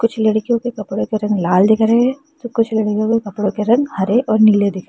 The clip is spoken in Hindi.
लड़कियों के कपड़े के रंग लाल दिख रहे हैं तो कुछ लड़कियों के कपड़े के रंग हरे और नीले दिख रहे हैं।